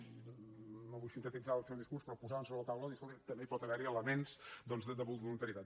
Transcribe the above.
i no vull sintetitzar el seu discurs però posaven sobre la taula dir escolti també hi pot haver elements de voluntarietat